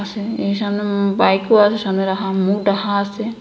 পাশে এ সামনে উম বাইকও আসে সামনে রাখা মুখ ঢাকা আসে।